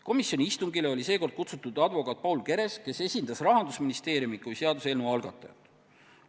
Komisjoni istungile oli sel korral kutsutud advokaat Paul Keres, kes esindas Rahandusministeeriumi kui seaduseelnõu algatajat.